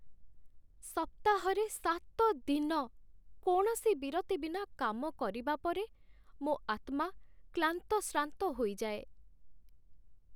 ସପ୍ତାହରେ ସାତ ଦିନ କୌଣସି ବିରତି ବିନା କାମ କରିବା ପରେ ମୋ ଆତ୍ମା କ୍ଲାନ୍ତଶ୍ରାନ୍ତ ହୋଇଯାଏ